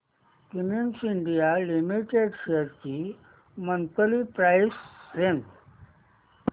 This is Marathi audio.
क्युमिंस इंडिया लिमिटेड शेअर्स ची मंथली प्राइस रेंज